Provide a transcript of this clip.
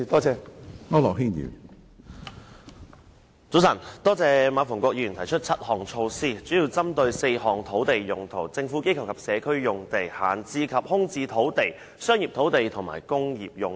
早晨，多謝馬逢國議員提出7項措施，這些措施主要針對4種土地用途：政府機構及社區用地、閒置及空置土地、商業土地，以及工業用地。